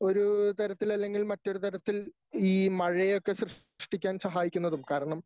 ഒരു തരത്തിലല്ലെങ്കിൽ മറ്റൊരു തരത്തിൽ ഈ മഴയൊക്കെ സൃഷ്ടിക്കാൻ സഹായിക്കുന്നതും. കാരണം